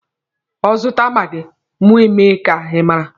Ọ zụta maagi, mụ emee ka ị mara.